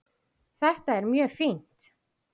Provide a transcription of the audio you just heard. Þetta er mjög fínt.